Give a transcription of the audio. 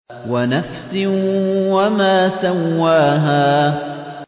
وَنَفْسٍ وَمَا سَوَّاهَا